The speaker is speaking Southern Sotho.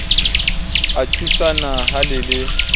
a thusana ha le le